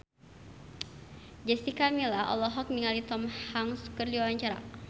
Jessica Milla olohok ningali Tom Hanks keur diwawancara